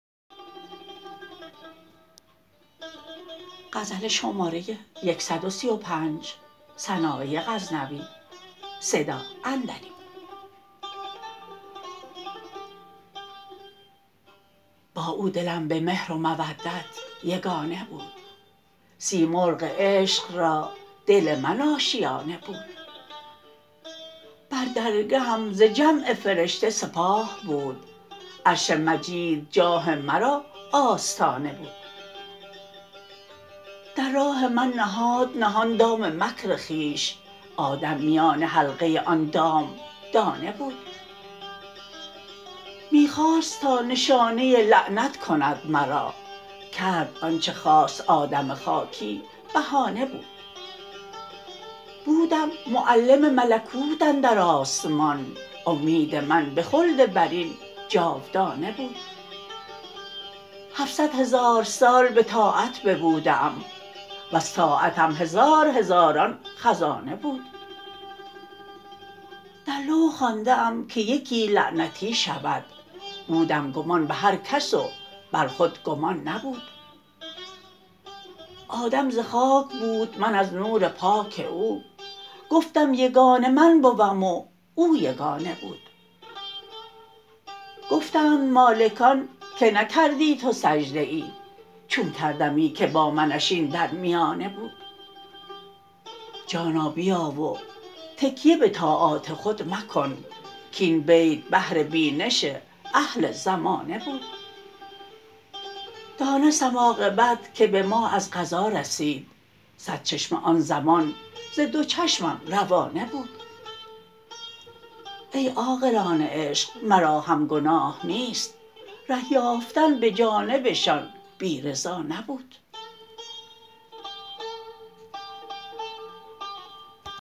با او دلم به مهر و مودت یگانه بود سیمرغ عشق را دل من آشیانه بود بر درگهم ز جمع فرشته سپاه بود عرش مجید جاه مرا آستانه بود در راه من نهاد نهان دام مکر خویش آدم میان حلقه آن دام دانه بود می خواست تا نشانه لعنت کند مرا کرد آنچه خواست آدم خاکی بهانه بود بودم معلم ملکوت اندر آسمان امید من به خلد برین جاودانه بود هفصد هزار سال به طاعت ببوده ام وز طاعتم هزار هزاران خزانه بود در لوح خوانده ام که یکی لعنتی شود بودم گمان به هر کس و بر خود گمان نبود آدم ز خاک بود من از نور پاک او گفتم یگانه من بوم و او یگانه بود گفتند مالکان که نکردی تو سجده ای چون کردمی که با منش این در میانه بود جانا بیا و تکیه به طاعات خود مکن کاین بیت بهر بینش اهل زمانه بود دانستم عاقبت که به ما از قضا رسید صد چشمه آن زمان ز دو چشمم روانه بود ای عاقلان عشق مرا هم گناه نیست ره یافتن به جانبشان بی رضا نبود